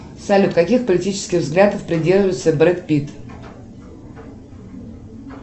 салют каких политических взглядов придерживается бред питт